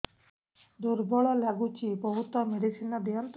ଦୁର୍ବଳ ଲାଗୁଚି ବହୁତ ମେଡିସିନ ଦିଅନ୍ତୁ